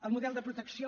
el model de protecció